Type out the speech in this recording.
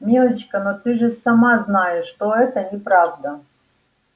милочка но ты же сама знаешь что это неправда